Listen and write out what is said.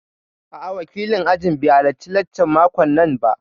A'a, wakilin ajin bai halarci laccan makon nan ba